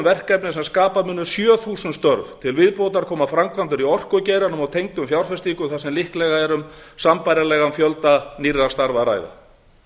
verkefni sem skapa munu sjö þúsund til viðbótar koma framkvæmdir í orkugeiranum og tengdum fjárfestingum þar sem líklega er um sambærilegan fjölda nýrra starfa að ræða